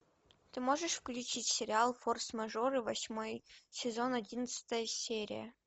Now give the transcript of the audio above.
ты можешь включить сериал форс мажоры восьмой сезон одиннадцатая серия